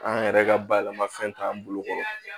An yɛrɛ ka bayɛlɛmafɛn t'an bolo